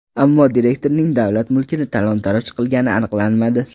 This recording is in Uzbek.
Ammo direktorning davlat mulkini talon-taroj qilgani aniqlanmadi.